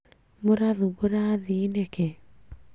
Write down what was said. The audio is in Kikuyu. Mũrathumbũra athii nĩkĩ